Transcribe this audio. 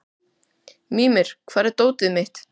Mímir, hvar er dótið mitt?